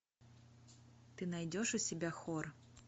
ты найдешь у себя хор